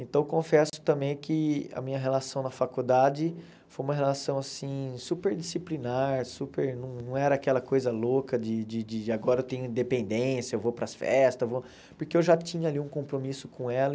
Então, confesso também que a minha relação na faculdade foi uma relação assim super disciplinar, super não era aquela coisa louca de de de agora eu tenho independência, eu vou para as festas eu vou, porque eu já tinha ali um compromisso com ela.